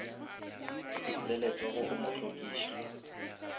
le letsogo o mo hlokiša